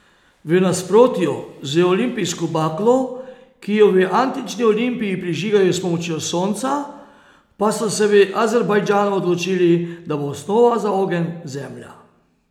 V nasprotju z olimpijsko baklo, ki jo v antični Olimpiji prižigajo s pomočjo sonca, pa so se v Azerbajdžanu odločili, da bo osnova za ogenj zemlja.